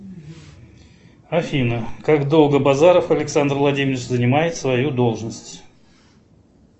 афина как долго базаров александр владимирович занимает свою должность